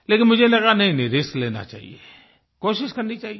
लेकिन मुझे लगा नहींनहीं रिस्क लेना चाहिए कोशिश करनी चाहिए